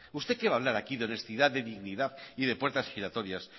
usted qué va a hablar aquí de honestidad de dignidad y de puertas giratorias